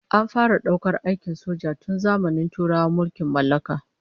An fara daukar aikin soja tun zamanin turawan mulkin mallaka